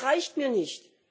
Das reicht mir nicht!